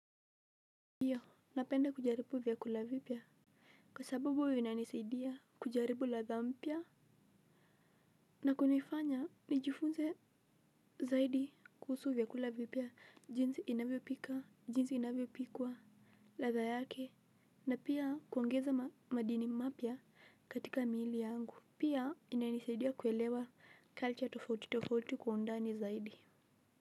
Ndiyo, napenda kujaribu vyakula vipya. Kwa sababu, vinanisaidia kujaribu ladha mpya. Na kunifanya, nijifunze zaidi kuhusu vyakula vipya, jinsi inavyopika, jinsi inavyopikwa, ladha yake, na pia kuongeza madini mapya katika miili yangu. Pia, inanisaidia kuelewa culture tofauti tofauti kwa undani zaidi.